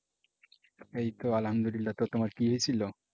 এই তো আলহামদুলিল্লাহ। তো তোমার কি হইছিলো?